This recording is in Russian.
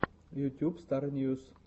ютьюб стар ньюс